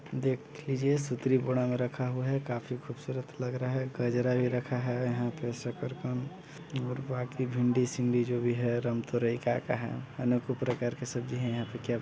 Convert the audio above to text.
देख लीजिए रखा हुआ है काफी खूबसूरत लग रहा है गजरा भी रखा है यहाँ पर शकरकंद और बाकी भिंड़ी- सिंडी जो भी है का -का है अनेको प्रकार के सब्जी है क्या --